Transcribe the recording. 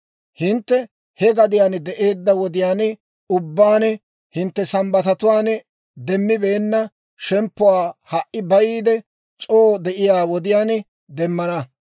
Hintte he gadiyaan de'eedda wodiyaan ubbaan hintte Sambbatatuwaan demmibeenna shemppuwaa ha"i bayiide c'oo de'iyaa wodiyaan demmana.